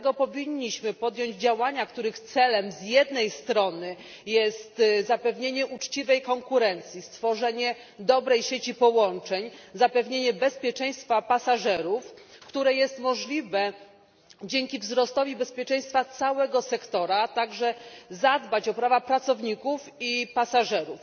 Dlatego powinniśmy podjąć działania, których celem z jednej strony jest zapewnienie uczciwej konkurencji, stworzenie dobrej sieci połączeń, zapewnienie bezpieczeństwa pasażerów, które jest możliwe dzięki wzrostowi bezpieczeństwa całego sektora, a także zadbać o prawa pracowników i pasażerów.